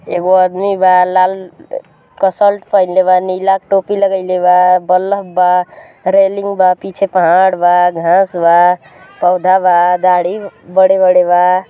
एगो आदमी बा लाल क सल्ट पहनलेबा नीला टोपी लगइलेबा वाल्व बा रेलिंग बापीछे पहांड़ बाघांस बा पोधा बादाढ़ी बड़े बड़े बा।